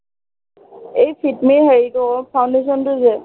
এই fit me হয় এইটো অ foundation টো যে